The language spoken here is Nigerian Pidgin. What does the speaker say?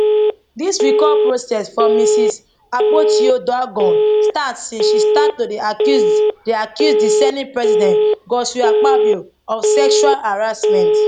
dis recall process for mrs akpotiuduaghan start since she start to dey accuse dey accuse di senate president godswill akpabio of sexual harrasment